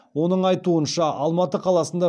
оның айтуынша алматы қаласында